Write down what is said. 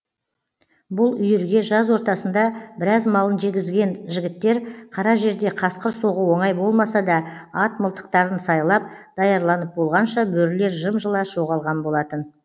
бұл үйірге жаз ортасында біраз малын жегізген жігіттер қара жерде қасқыр соғу оңай болмаса да ат мылтықтарын сайлап даярланып болғанша бөрілер жым жылас жоғалған болатын